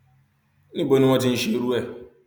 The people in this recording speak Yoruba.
níbo ni wọn ti ń ṣerú ẹ